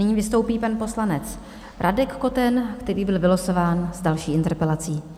Nyní vystoupí pan poslanec Radek Koten, který byl vylosován s další interpelací.